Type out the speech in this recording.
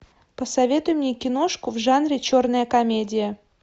посоветуй мне киношку в жанре черная комедия